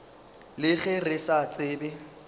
le ge re sa tsebe